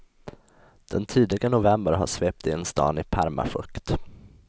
Den tidiga november har svept in stan i permafukt.